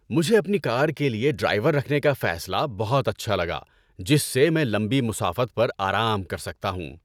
مجھے اپنی کار کے لیے ڈرائیور رکھنے کا فیصلہ بہت اچھا لگا جس سے میں لمبی مسافت پر آرام کر سکتا ہوں۔